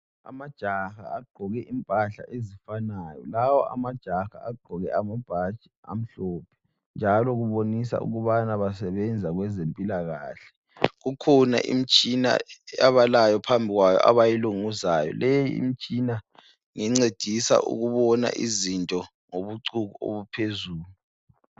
Amajaha agqoke impahla ezifanayo, lawo amajaha agqoke amabhatshi amhlophe njalo kubonisa ukubana basebenza kwezempilakahle. Kukhona imitshina abalayo phambi kwayo abayilunguzayo. Leyi imitshina ngencedisa ukubona izinto ngobucuku obuphezulu.